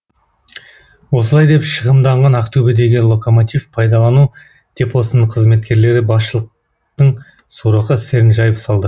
осылай деп шығымданған ақтөбедегі локомотив пайдалану депосының қызметкерлері басшылықтың сорақы істерін жайып салды